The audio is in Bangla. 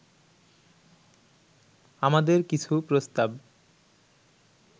আমাদের কিছু প্রস্তাব